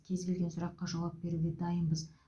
кез келген сұраққа жауап беруге дайынбыз